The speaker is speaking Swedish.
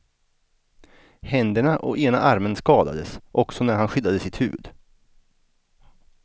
Händerna och ena armen skadades också när han skyddade sitt huvud.